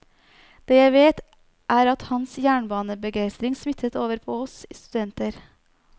Det jeg vet er at hans jernbanebegeistring smittet over på oss studenter.